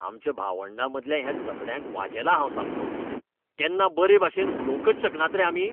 आमच्या भावंडामदल्या ह्या झगड्यांक वाजेलां हांव सामकों. केन्ना बरेभाशेन उलोवंकच शकनात रे आमी?